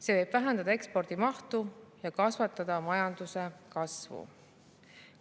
See võib vähendada ekspordi mahtu ja majanduskasvu.